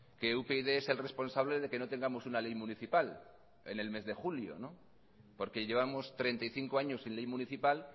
que upyd es el responsable de que no tengamos una ley municipal en el mes de julio no porque llevamos treinta y cinco años sin ley municipal